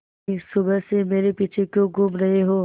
बिन्नी सुबह से मेरे पीछे क्यों घूम रहे हो